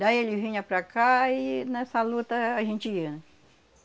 Daí ele vinha para cá e nessa luta a gente ia, né?